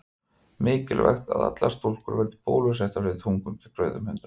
mikilvægt að allar stúlkur verði bólusettar fyrir þungun gegn rauðum hundum